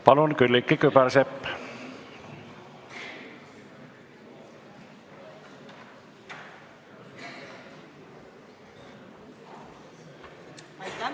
Palun, Külliki Kübarsepp!